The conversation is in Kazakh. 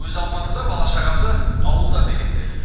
өзі алматыда бала шағасы ауылда дегендей